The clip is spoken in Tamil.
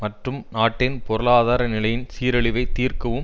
மற்றும் நாட்டின் பொருளாதார நிலையின் சீரழிவை தீர்க்கவும்